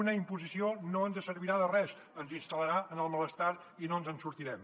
una imposició no ens servirà de res ens instal·larà en el malestar i no ens en sortirem